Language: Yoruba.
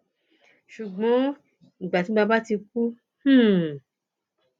ṣùgbọn ìgbà tí bàbá ti kú hḿḿ